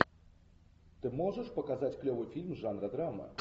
ты можешь показать клевый фильм жанра драма